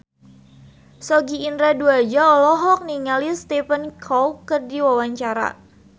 Sogi Indra Duaja olohok ningali Stephen Chow keur diwawancara